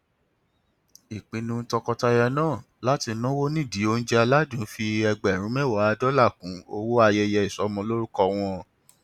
ìpinnu tọkọtaya náà láti náwó nídìí oúnjẹ aládùn fi ẹgbẹrún mẹwàá dọlà kún owó ayẹyẹ ìsọmọlórúkọ wọn